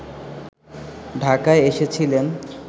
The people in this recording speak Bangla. ঢাকায় এসেছিলেন